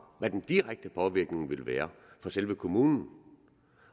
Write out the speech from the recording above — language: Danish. hvad den direkte påvirkning ville være for selve kommunen